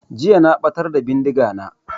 Jiya na ɓatar da bindiga na